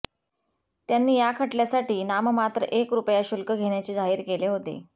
त्यांनी या खटल्यासाठी नाममात्र एक रुपया शुल्क घेण्याचे जाहीर केले होते